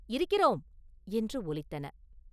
இருக்கிறோம்!” என்று ஒலித்தன.